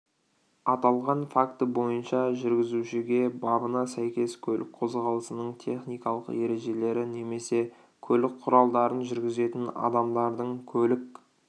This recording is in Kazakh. аталған факті бойынша жүргізушіге бабына сәйкес көлік қозғалысының техникалық ережелері немесе көлік құралдарын жүргізетін адамдардың көлік